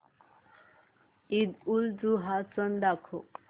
ईदउलजुहा सण दाखव